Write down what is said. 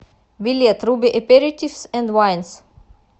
билет руби эперитифс энд вайнс